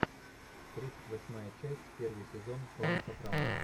тридцать восьмая часть первый сезон клан сопрано